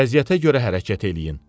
Vəziyyətə görə hərəkət eləyin.